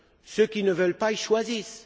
Ceux qui ne veulent pas le choisissent.